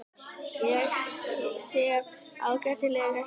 Ég sef ágætlega hérna.